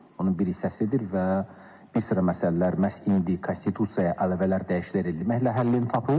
Onun bir hissəsidir və bir sıra məsələlər məhz indi Konstitusiyaya əlavələr, dəyişikliklər etməklə həllini tapır.